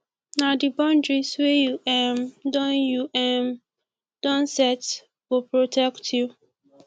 na di boundaries wey you um don you um don set go protect you